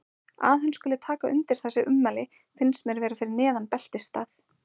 Að hann skuli taka undir þessi ummæli finnst mér vera fyrir neðan beltisstað.